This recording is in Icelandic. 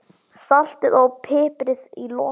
Saltið og piprið í lokin.